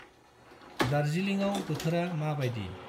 दार्जिलिंआव बोथोरा माबायदि?